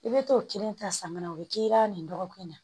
I bɛ t'o kelen ta samara o bɛ k'i la nin dɔgɔkun in na